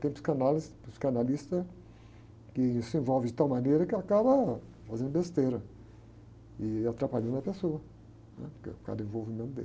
Tem psicanálise, psicanalista que se envolve de tal maneira que acaba fazendo besteira e atrapalhando a pessoa, né? Porque, por causa do envolvimento dele.